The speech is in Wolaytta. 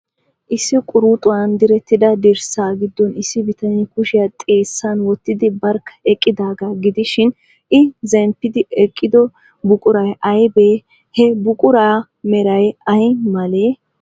Issi quruxuwan direttida dirssaa giddon issi bitanee kushiyaa xeessan wottidi barkka eqqidaagaa gidishin, I zemppidi eqqido buquray aybee? He buquraa meray ay malee?